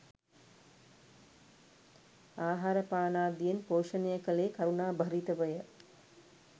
ආහාරපානාදියෙන් පෝෂණය කළේ කරුණාභරිතවය.